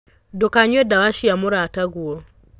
Ndũkanyue dawa cia mũrata guo.